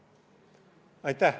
Aitäh!